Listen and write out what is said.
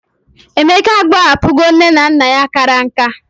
Emeka agbahapuho ne na nna ya kara nka